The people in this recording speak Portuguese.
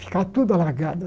Ficava tudo alagado.